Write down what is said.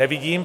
Nevidím.